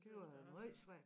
Tøs jeg også det var